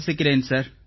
வசிக்கிறேன் sir